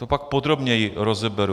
To pak podrobněji rozeberu.